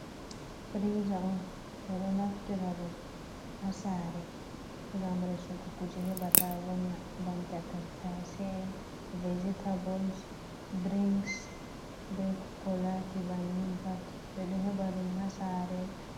Firiza on ɓeɗo naftira ɗum ha sare ngam resugo kuje he ɓata vonna ban ta tattase ’en, vegitables, dirinks be kolati ban nin pat ɓeɗo heɓa ɗum ha saare.